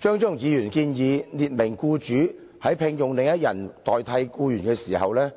張超雄議員建議法例列明僱主在聘用另一人代替某僱員的時候，須